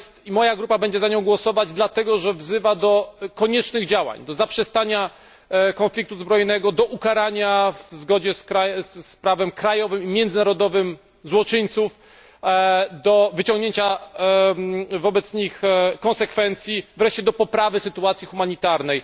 Moja grupa będzie za nią głosować, dlatego, że wzywa do koniecznych działań, do zaprzestania konfliktu zbrojnego, do ukarania w zgodzie z prawem krajowym i międzynarodowym złoczyńców, do wyciągnięcia wobec nich konsekwencji, wreszcie do poprawy sytuacji humanitarnej.